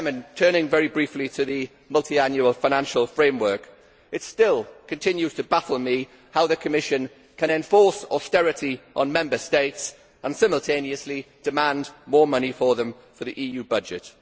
Turning very briefly to the multiannual financial framework, it still continues to baffle me how the Commission can enforce austerity on Member States and simultaneously demand more money from them for the EU budget.